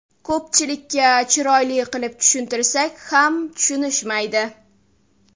Ko‘pchilikka chiroyli qilib tushuntirsak ham tushunishmaydi.